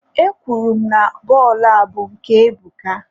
Ekwuru m na bọọlụ a bụ nke Ebuka.